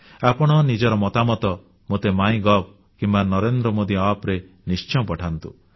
ଆପଣ ନିଜର ମତାମତ ମୋତେ ମାଇଗଭ୍ କିମ୍ବା NarendraModiApp ରେ ନିଶ୍ଚୟ ପଠାନ୍ତୁ